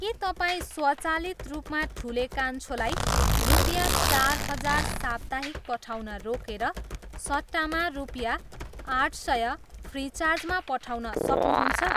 के तपाईँ स्वचालित रूपमा ठुले कान्छोलाई रुपियाँ चार हजार साप्ताहिक पठाउन रोकेर सट्टामा रुपियाँ आठ सय, फ्रिचार्जमा पठाउन सक्नुहुन्छ?